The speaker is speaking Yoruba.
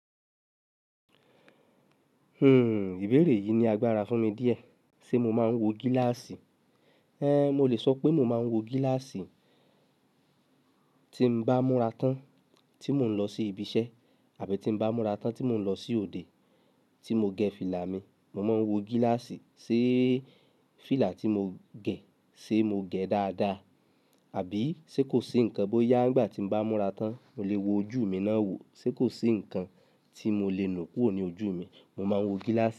Hmm, ìbéèrè yìí ni agbára fún mi díẹ̀. Ṣé mo máa ń wo gíláàsì? Ée, mo lè sọ pé mo máa ń wo gíláàsì tí mo bá múra tán tí mò ń lọ sí ibi iṣẹ́ àbí tí bá múra tán tí mò ń lọ sí òde. Tí mo gẹ fílà mi, mo máa ń wo gíláàsì sé fílà tí mo gẹ ṣé mo gẹ dáadáa àbí sé kò sí nǹkan bó yá nígbà tí mo bá múra tán. Mo lè wo ojú mi náà wo, ṣé kò sí nǹkan tí mo lè nù kúrò ní ojú mi, mo máa ń wo gíláàsì.